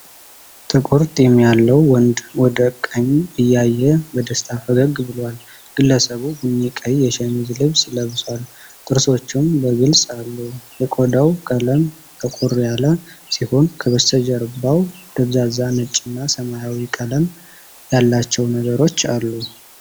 ጥቁር ጢም ያለው ወንድ ወደ ቀኝ እያየ በደስታ ፈገግ ብሏል። ግለሰቡ ቡኒ-ቀይ የሸሚዝ ልብስ ለብሷል፤ ጥርሶቹም በግልጽ አሉ። የቆዳው ቀለም ጠቆር ያለ ሲሆን፣ ከበስተጀርባው ደብዛዛ ነጭና ሰማያዊ ቀለም ያላቸው ነገሮች አሉ።